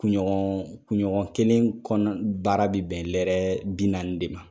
Kunɲɔgɔn kunɲɔgɔn kelen kɔnɔ baara bɛ bɛn lɛrɛ bi naani de ma